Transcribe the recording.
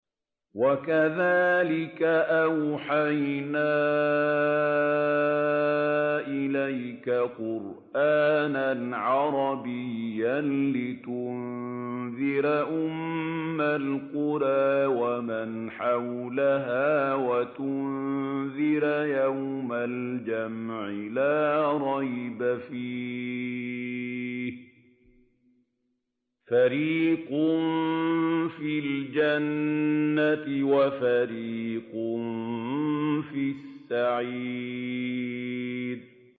وَكَذَٰلِكَ أَوْحَيْنَا إِلَيْكَ قُرْآنًا عَرَبِيًّا لِّتُنذِرَ أُمَّ الْقُرَىٰ وَمَنْ حَوْلَهَا وَتُنذِرَ يَوْمَ الْجَمْعِ لَا رَيْبَ فِيهِ ۚ فَرِيقٌ فِي الْجَنَّةِ وَفَرِيقٌ فِي السَّعِيرِ